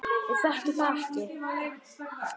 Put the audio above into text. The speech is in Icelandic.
Ég þekki það ekki.